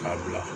K'a bila